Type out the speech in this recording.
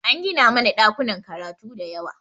An gina mana ɗakunan karatu da yawa